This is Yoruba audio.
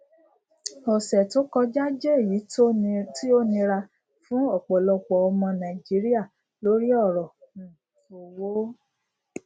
ọsẹ tó kọjá jẹ èyí tí ó nira fún ọpọlọpọ ọmọ nàìjíríà lórí ọrọ um owó